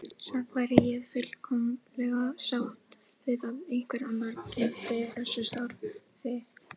Samt væri ég fullkomlega sátt við að einhver annar gegndi þessu starfi.